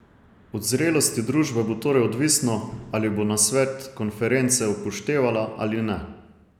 Od zrelosti družbe bo torej odvisno, ali bo nasvet konference upoštevala ali ne.